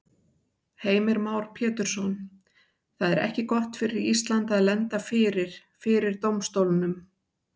Heimir Már Pétursson: Það er ekki gott fyrir Ísland að lenda fyrir, fyrir dómstólnum?